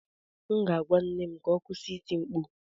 M ga-agwa nne m ka ọ kwụsị ịti mkpu